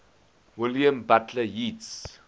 william butler yeats